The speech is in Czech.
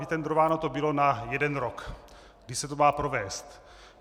Vytendrováno to bylo na jeden rok, kdy se to má provést.